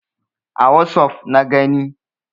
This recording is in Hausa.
A wossof na gani.